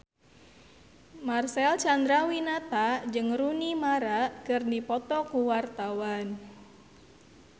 Marcel Chandrawinata jeung Rooney Mara keur dipoto ku wartawan